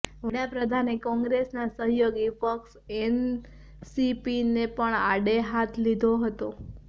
વડાપ્રધાને કોંગ્રેસના સહયોગી પક્ષ એનસીપીને પણ આડેહાથ લીધો હતો